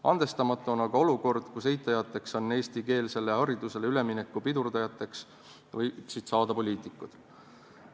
Andestamatu on aga olukord, kus eitajateks, eestikeelsele haridusele ülemineku pidurdajateks võiksid saada poliitikud.